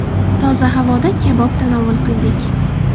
Toza havoda kabob tanovul qildik.